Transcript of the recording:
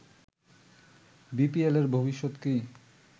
বিপিএলের ভবিষ্যৎ কি